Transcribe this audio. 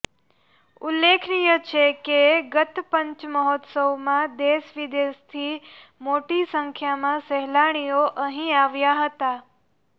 ઉલ્લેખનીય છે કે ગત પંચમહોત્સવમાં દેશવિદેશથી મોટી સંખ્યામાં સહેલાણીઓ અહી આવ્યા હતા